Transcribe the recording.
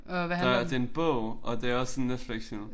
Der det en bog og det også en Netlixfilm